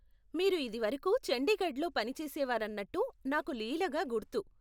మీరు ఇదివరకు చండీగఢ్లో పని చేసేవారన్నట్టు నాకు లీలగా గుర్తు.